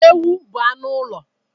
Ewu bụ anụ ụlọ.